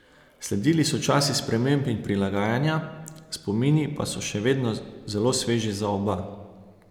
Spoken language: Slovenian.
Sledili so časi sprememb in prilagajanja, spomini pa so še vedno zelo sveži za oba.